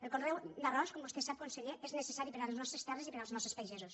el conreu d’arròs com vostè sap conseller és necessari per a les nostres terres i per als nostres pagesos